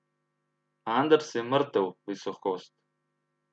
Anders je mrtev, visokost.